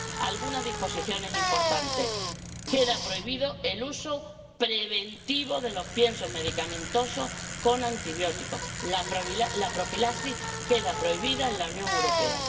Algunas disposiciones importantes queda prohibido el uso preventivo de los piensos medicamentosos con antibióticos. La profilaxis queda prohibida en la Unión Europea.